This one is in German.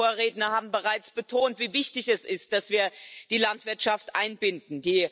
Meine Vorredner haben bereits betont, wie wichtig es ist, dass wir die Landwirtschaft einbinden.